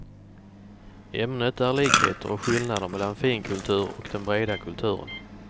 Ämnet är likheter och skillnader mellan finkultur och den breda kulturen.